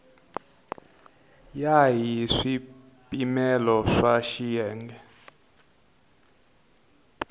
ya hi swipimelo swa xiyenge